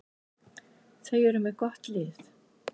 Þeir eru með gott lið.